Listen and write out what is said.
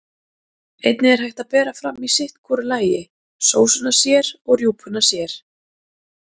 Einnig er hægt að bera fram í sitt hvoru lagi, sósuna sér og rjúpuna sér.